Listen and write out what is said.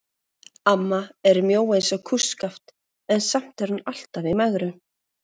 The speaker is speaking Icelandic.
Amma er mjó eins og kústskaft en samt er hún alltaf í megrun.